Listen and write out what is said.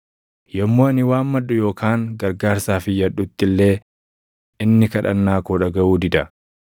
Yommuu ani waammadhu yookaan gargaarsaaf iyyadhutti illee inni kadhannaa koo dhagaʼuu dida.